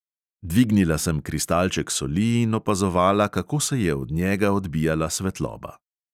Dvignila sem kristalček soli in opazovala, kako se je od njega odbijala svetloba.